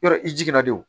Yɔrɔ i jiginna de wo